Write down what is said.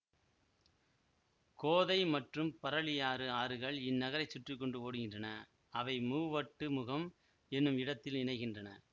கோதை மற்றும் பறளியாறு ஆறுகள் இந்நகரை சுற்றி கொண்டு ஒடுகிறன்றன அவை மூவட்டுமுகம் என்னும் இடத்தில் இணைகின்றன